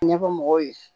Ɲɛfɔ mɔgɔw ye